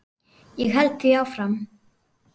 Ég held því áfram.